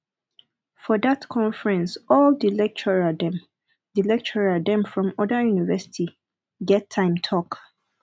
for dat conference all di lecturer dem di lecturer dem from oda university get time talk